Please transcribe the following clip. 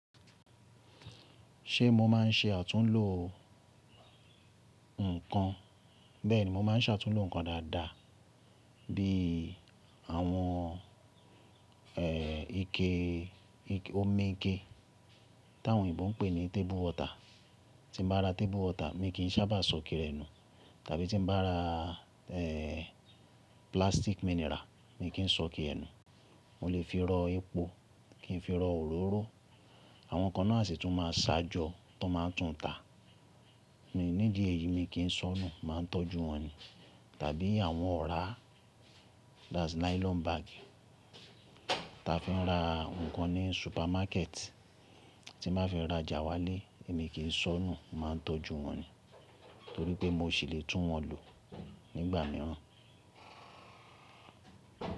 Ṣé mo má ń ṣe àtúnlò nǹkan? Bẹ́ẹ̀ni, mo má ń ṣàtúnlò nǹkan dáadáa bí i àwọn ike, omi ike táwọn òyìnbó ń pè ní table water. Tí mo bá ra table water mi kì í sábà sọké rẹ̀ nu. Tàbí tí n bá ra plastic mineral, mi kì í sọ iké ẹ̀ nu. Mo lè fi rọ epo, kì n fi rọ òróró. Àwọn nǹkan náà sì tún máa ń sáà jọ tí wọ́n máa ń tún tà. Ní ìdí èyí mi kì í sọ́nú má a tọ́jú wọn ni. Tàbí àwọn ọ̀rá that's nylon bag táa fi ń ra nǹkan ní supermarket tí n bá fi ń rajà wálé mi kì í sọ́nú má a tọ́jú wọn ni. Nítorí pé mo ṣì lè tún wọn lò nígbà míràn.